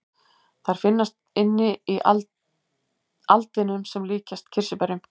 Þær finnast inni í aldinum sem líkjast kirsuberjum.